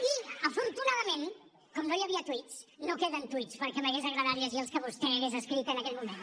i afortunadament com no hi havia tuits no queden tuits perquè m’hagués agradat llegir els que vostè hagués escrit en aquell moment